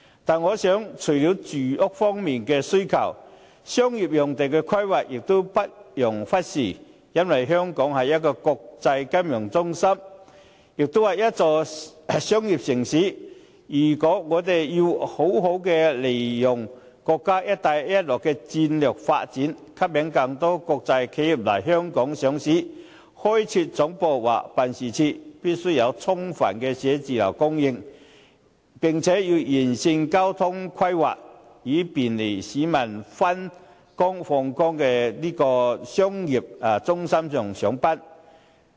但是，除了住屋方面的需求，商業用地的規劃也不容忽視，因為香港是一個國際金融中心，也是商業城市，如果我們要好好利用國家"一帶一路"的戰略發展，吸引更多國際企業來香港上市，或開設總部或辦事處，便須有充分的寫字樓供應，並且要完善交通規劃，以方便市民往返商業中心上班。